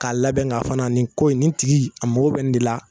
K'a labɛn ka, fana nin ko in nin tigi a mako bɛ nin de la.